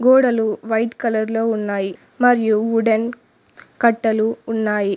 గోడలు white colour లో ఉన్నాయి మరియు వుడెన్ కట్టెలు ఉన్నాయి.